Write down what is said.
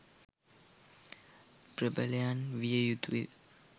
ප්‍රභලයන් විය යුතුය.